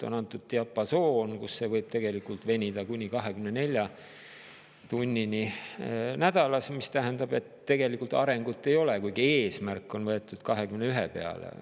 On antud diapasoon, mille puhul koormus võib tegelikult venida kuni 24 tunnini nädalas, mis tähendab, et tegelikult arengut ei ole, kuigi eesmärk on võetud 21 peale.